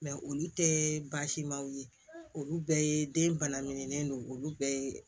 olu tɛ baasimanw ye olu bɛɛ ye den bana min don olu bɛɛ ye